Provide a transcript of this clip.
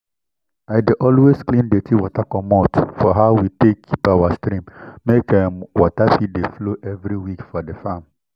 i dey always clean dirty wey comot for how we take keep our stream make um water fit dey flow every week for di farm